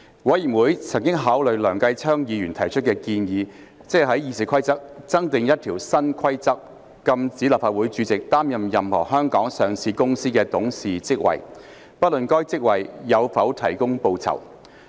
委員會曾考慮梁繼昌議員提出的建議，即在《議事規則》增訂一項新規則，禁止立法會主席"擔任任何香港上市公司的董事職位，不論該職位有否提供報酬"。